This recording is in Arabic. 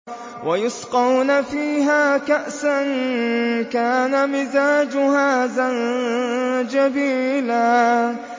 وَيُسْقَوْنَ فِيهَا كَأْسًا كَانَ مِزَاجُهَا زَنجَبِيلًا